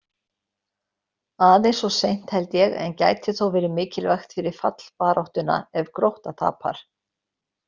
Aðeins of seint, held ég, en gæti þó verið mikilvægt fyrir fallbaráttuna ef Grótta tapar!